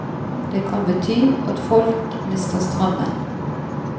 Det kan bety at folk mister strømmen.